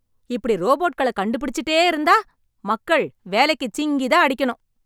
இப்டி ரோபோட்களை கண்டுபிடிச்சிட்டே இருந்தா, மக்கள் வேலைக்கு சிங்கிதான் அடிக்கணும்...